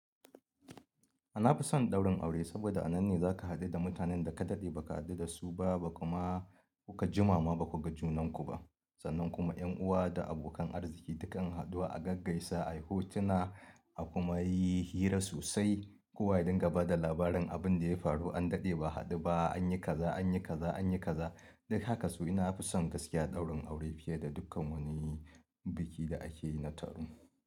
Nafi son ɗaurin aure, saboda a nan ne zaka haɗu da mutanen da ka daɗe ba ka haɗu da su ba, ba ka ma kuka jima ma ba kuga junanku ba. Sannan kuma ƴan uwa da abokan arziki duka mu haɗu, a gaggaisa, a yi hotuna, a kuma yi hira sosai. Kowa ya dinga ba da labarin abin da ya faru, an daɗe ba a haɗu ba, an yi kaza, an yi kaza, an yi kaza. Dan haka to nafi son gaskiya ɗaurin aure fiye da dukkan wani biki da ake yi na taro.